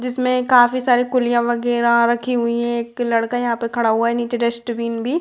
जिसमे काफी सारी कुलिया वगेरा रखी हुई है एक लड़का यहाँ पे खड़ा हुआ है निचे डस्टबिन भी --